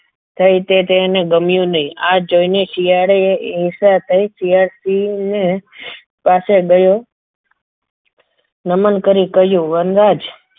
થઈ તે તેને ગમ્યું નહીં આ જોઈને શિયાળે ઈચ્છા થઈ શિયાળ સિંહ ને પાસે ગયો નમન કરી કહ્યું વનરાજ